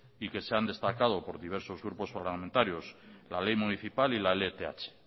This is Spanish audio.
y que se han destacado por diversos grupos parlamentarios la ley municipal y la lth